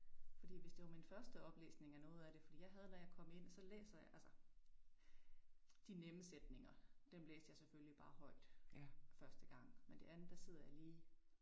Fordi hvis det var min første oplæsning af noget af det fordi jeg havde da jeg kom ind så læser jeg altså de nemme sætninger dem læste jeg selvfølgelig bare højt første gang men det andet der sidder jeg lige